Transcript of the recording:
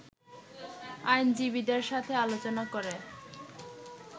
আইনজীবীদের সাথে আলোচনা করে